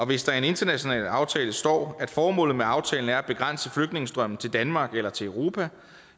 hvis der i en international aftale står at formålet med aftalen er at begrænse flygtningestrømmen til danmark eller til europa